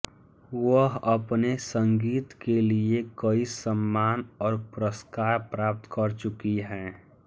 वह अपने संगीत के लिए कई सम्मान और पुरस्कार प्राप्त कर चुकी हैं